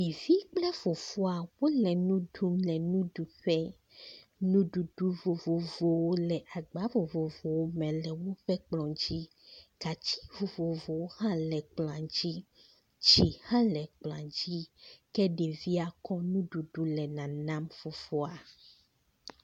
Yifi kple fofoa wole nu ɖum le nuɖuƒe, nuɖuɖu vovovowo le agba vovovowo me le woƒe kplɔ̃ dzi, gatsi vovovowo hã le kplɔ̃a dzi, tsi hã le kplɔ̃a dzi, ke ɖevia kɔ nuɖuɖu le nanam fofoa.